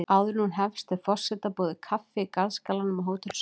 Áður en hún hefst er forseta boðið kaffi í garðskálanum á Hótel Sögu.